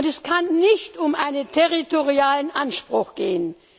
Es kann nicht um einen territorialen Anspruch gehen.